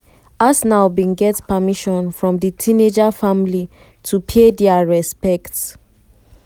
arsenal bin get permission from di teenager family to pay dia respects.